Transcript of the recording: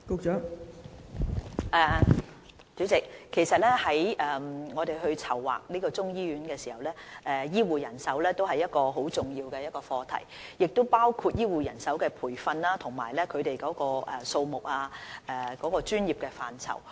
代理主席，當我們籌劃這間中醫醫院時，醫護人手是一個很重要的課題，當中包含醫護人手的培訓、數目和專業範疇。